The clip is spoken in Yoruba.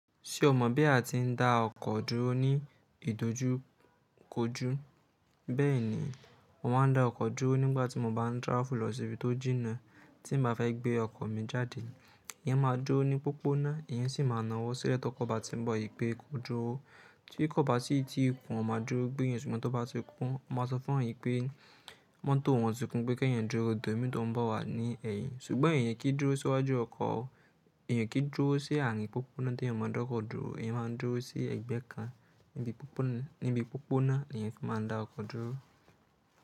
Ṣé o mọ̀ bí a ti ń dá ọkọ̀ dúró ní ìdójúkójú? Bẹ́ẹ̀ni, mo máa ń dá ọkọ̀ dúró nígbàtí mo bá ń travel lọ sí ibi tó jìna. Tí mio bá fẹ́ gbé ọkọ̀ mi jáde, eyan máa dúró ní pópónà, eyan sì máa na wò sílẹ̀ tókọ bá ti ń bọ̀ wipé kó dúró. Tí kò bá sí tí i kún, a máa dúró gbéyan, ṣùgbọ́n tí o bá ti kún, won máa sọ fún awon ẹ̀yan pé mọ́tò wọn ti kún pé kí ẹ̀yan dúró, de òmi tó ń bọ̀ wá ní ẹ̀yìn. Ṣùgbọ́n eyan kì í dúró síwájú ọkọ̀ o. Eyan kì í dúró sí àárín pópónà tí èèyàn máa ń dá ọkọ̀ dúró. Eyẹn máa ń dúró sí ẹ̀gbẹ́ kan nibi popona níbi pópónà ni eyan fi máa ń dá ọkọ̀ dúró.